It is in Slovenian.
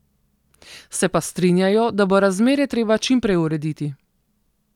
Se pa strinjajo, da bo razmere treba čim prej urediti.